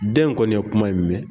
Den kɔni ye kuma in mɛn.